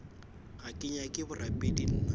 ga ke nyake borapedi nna